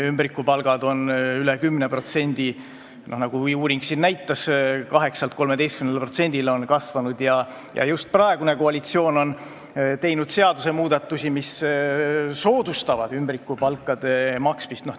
Ümbrikupalgad on üle 10%, nagu uuring näitas, 8%-lt 13%-le on nende osa kasvanud ja just praegune koalitsioon on teinud seadusmuudatusi, mis soodustavad ümbrikupalkade maksmist.